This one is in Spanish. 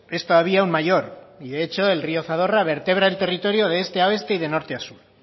es todavía aun mayor y de hecho el río zadorra vertebra el territorio de este a oeste y de norte a sur